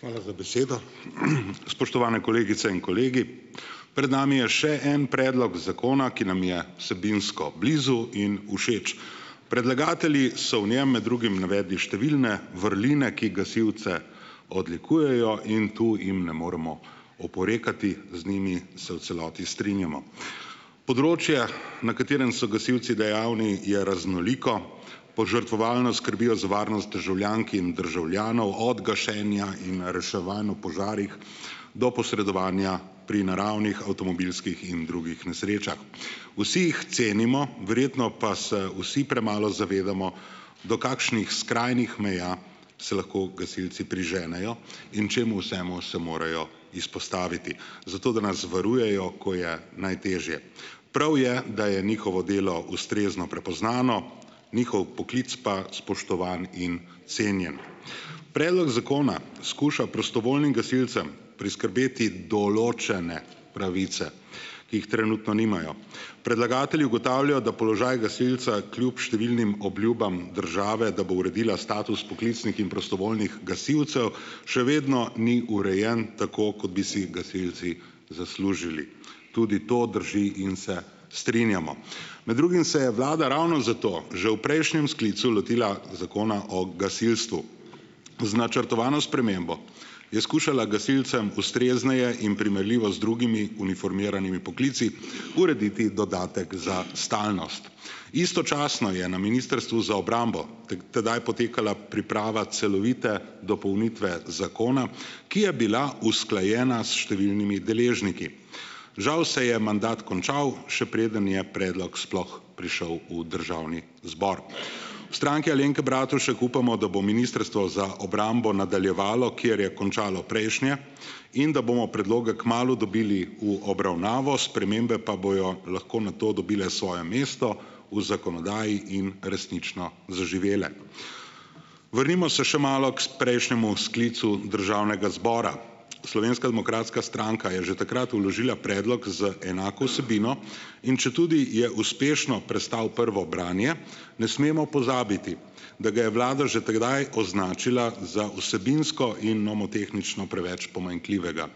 Hvala za besedo. Spoštovane kolegice in kolegi! Pred nami je še en predlog zakona, ki nam je vsebinsko blizu in všeč. Predlagatelji so v njem med drugim navedli številne vrline, ki gasilce odlikujejo in to jim ne moremo oporekati, z njimi se v celoti strinjamo. Področja, na katerem so gasilci dejavni, je raznoliko, požrtvovalno skrbijo za varnost državljank in državljanov od gašenja in reševanj v požarih do posredovanja pri naravnih, avtomobilskih in drugih nesrečah. Vsi jih cenimo, verjetno pa se vsi premalo zavedamo, do kakšnih skrajnih meja se lahko gasilci priženejo in čemu vsemu se morajo izpostaviti, zato, da nas varujejo, ko je najtežje. Prav je, da je njihovo delo ustrezno prepoznano, njihov poklic pa spoštovan in cenjen. Predlog zakona skuša prostovoljnim gasilcem priskrbeti določene pravice, ki jih trenutno nimajo. Predlagatelji ugotavljajo, da položaj gasilca kljub številnim obljubljam države, da bo uredila status poklicnih in prostovoljnih gasilcev, še vedno ni urejen tako, kot bi si gasilci zaslužili, tudi to drži in se strinjamo. Med drugim se je vlada ravno zato že v prejšnjem sklicu lotila Zakona o gasilstvu. Z načrtovano spremembo je skušala gasilcem ustrezneje in primerljivo z drugimi uniformiranimi poklici urediti dodatek za stalnost. Istočasno je na ministrstvu za obrambo tedaj potekala priprava celovite dopolnitve zakona, ki je bila usklajena s številnimi deležniki. Žal se je mandat končal, še preden je predlog sploh prišel v državni zbor. V Stranki Alenke Bratušek upamo, da bo Ministrstvo za obrambo nadaljevalo, kjer je končalo prejšnje, in da bomo predloge kmalu dobili v obravnavo, spremembe pa bojo lahko na to dobile svoje mesto v zakonodaji in resnično zaživele. Vrnimo se še malo k prejšnjemu sklicu državnega zbora. Slovenska demokratska stranka je že takrat vložila predlog z enako vsebino, in četudi je uspešno prestal prvo branje, ne smemo pozabiti, da ga je vlada že tedaj označila za vsebinsko in nomotehnično preveč pomanjkljivega.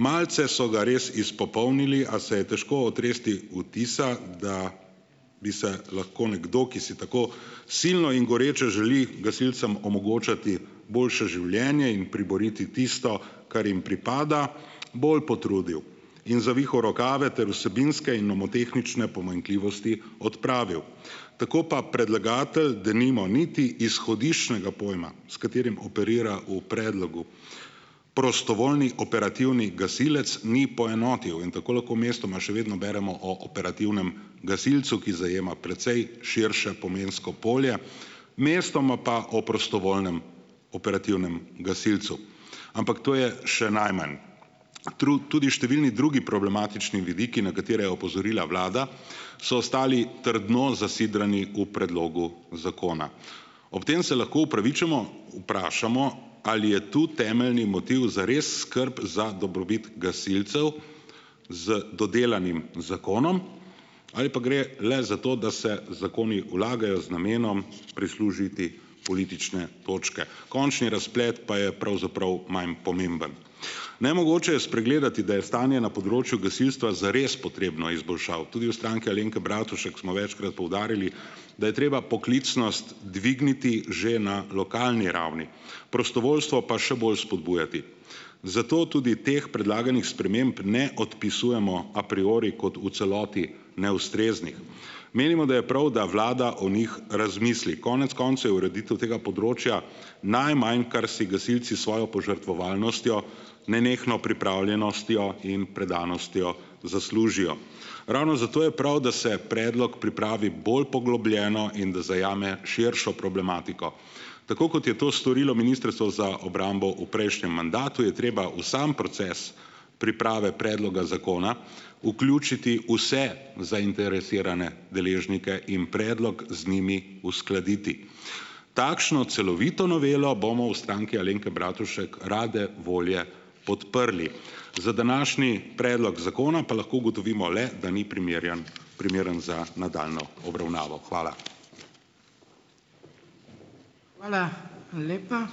Malce so ga res izpopolnili, a se je težko otresti vtisa, da bi se lahko nekdo, ki si tako silno in goreče želi gasilcem omogočati boljše življenje in priboriti tisto, kar jim pripada, bolj potrudil in zavihal rokave ter vsebinske in nomotehnične pomanjkljivosti odpravil. Tako pa predlagatelj denimo niti izhodiščnega pojma, s katerim operira v predlogu, prostovoljni operativni gasilec, ni poenotil in tako lahko mestoma še vedno beremo o operativnem gasilcu, ki zajema precej širše pomensko polje. Mestoma pa o prostovoljnem operativnem gasilcu. Ampak to je še najmanj. tudi številni drugi problematični vidiki, na katere je opozorila vlada, so ostali trdno zasidrani v predlogu zakona. Ob tem se lahko upravičeno vprašamo, ali je to temeljni motiv zares skrb za dobrobit gasilcev z dodelanim zakonom ali pa gre le za to, da se zakoni vlagajo z namenom prislužiti politične točke, končni razplet pa je pravzaprav manj pomemben. Nemogoče je spregledati, da je stanje na področju gasilstva zares potrebno izboljšav. Tudi v Stranki Alenke Bratušek smo večkrat poudarjali, da je treba poklicnost dvigniti že na lokalni ravni, prostovoljstvo pa še bolj spodbujati. Zato tudi teh predlaganih sprememb ne odpisujemo a priori kot v celoti neustreznih, menimo, da je prav, da vlada o njih razmisli. Konec koncev je ureditev tega področja najmanj, kar si gasilci s svojo požrtvovalnostjo, nenehno pripravljenostjo in predanostjo zaslužijo. Ravno zato je prav, da se predlog pripravi bolj poglobljeno in da zajame širšo problematiko. Tako kot je to storilo Ministrstvo za obrambo v prejšnjem mandatu, je treba v sam proces priprave predloga zakona vključiti vse zainteresirane deležnike in predlog z njimi uskladiti. Takšno celovito novelo bomo v Stranki Alenke Bratušek rade volje podprli. Za današnji predlog zakona pa lahko ugotovimo le, da ni primerjan primerno za nadaljnjo obravnavo. Hvala.